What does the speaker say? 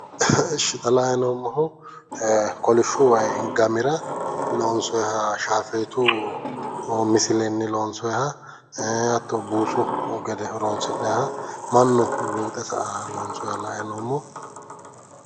Ishi ta la'anni noommohu kolishshu wayi gamira loonsoyi shaafeetu misilenni loonsoyiha ee hatto buusu gede horonsi'nanni mannu luuxe sa'annoha loonsooniiha la'anni noommo